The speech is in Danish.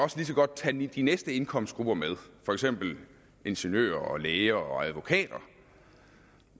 lige så godt tage de næste indkomstgrupper for eksempel ingeniører læger og advokater